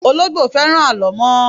Ológbò fẹ́ràn alo mo